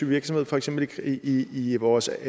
virksomhed for eksempel i i vores